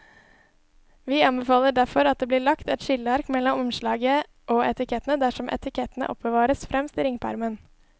Vi anbefaler derfor at det blir lagt et skilleark mellom omslaget og etikettene dersom etikettene oppbevares fremst i ringpermen.